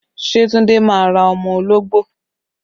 Ṣé Tunde máa ra ọmọ ológbò?